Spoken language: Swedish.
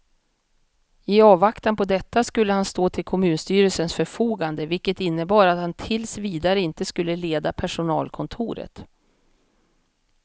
I avvaktan på detta skulle han stå till kommunstyrelsens förfogande, vilket innebar att han tills vidare inte skulle leda personalkontoret.